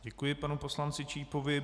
Děkuji panu poslanci Čípovi.